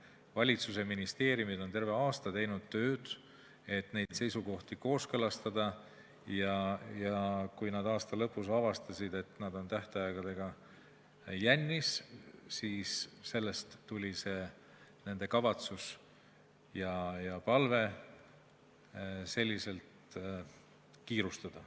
Valitsus ja ministeeriumid on terve aasta tööd teinud, et neid seisukohti kooskõlastada, ja kui nad aasta lõpus avastasid, et nad on tähtaegadega jännis, siis sellest tuli nende kavatsus ja palve sedasi kiirustada.